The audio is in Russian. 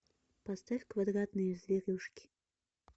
поставь квадратные зверюшки